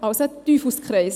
Also, ein Teufelskreis.